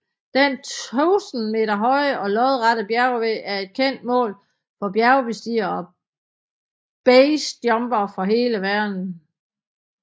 Den tusind meter høje og lodrette bjergvæg er et kendt mål for bjergbestigere og BASE jumpere fra hele verden